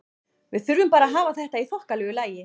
Við þurfum bara að hafa þetta í þokkalegu lagi.